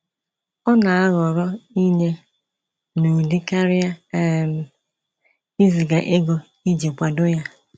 Ọ na aghọrọ inye n'ụdị karịa um iziga ego iji kwado ya